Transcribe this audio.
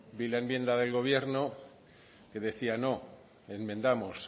vi la enmienda del gobierno que decían no enmendamos